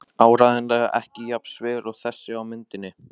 Áreiðanlega ekki jafn sver og þessi á myndinni.